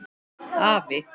Afi!